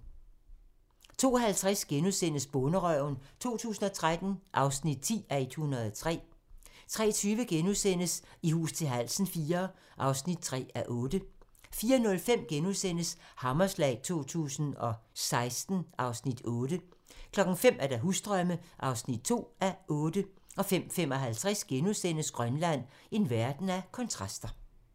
02:50: Bonderøven 2013 (10:103)* 03:20: I hus til halsen IV (3:8)* 04:05: Hammerslag 2016 (Afs. 8)* 05:00: Husdrømme (2:8) 05:55: Grønland - en verden af kontraster *